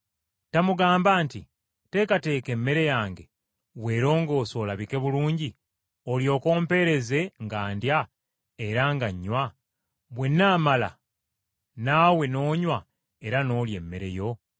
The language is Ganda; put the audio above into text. Tamugamba nti, ‘Teekateeka emmere yange, weerongoose olabike bulungi, olyoke ompeereze nga ndya era nga nnywa, bwe nnaamala naawe n’onywa era n’olya emmere yo?’